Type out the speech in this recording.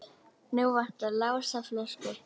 Nú vantar Lása flösku.